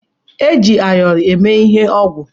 Eji ayọrọ eme ihe ọgwụ.